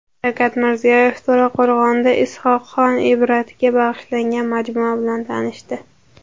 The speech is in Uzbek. Shavkat Mirziyoyev To‘raqo‘rg‘onda Is’hoqxon Ibratga bag‘ishlangan majmua bilan tanishdi.